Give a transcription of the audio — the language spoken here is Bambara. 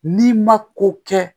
N'i ma ko kɛ